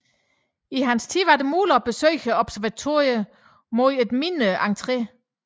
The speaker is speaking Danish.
I hans tid var det muligt at besøge observatoriet mod en mindre entre